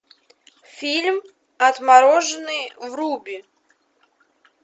фильм отмороженные вруби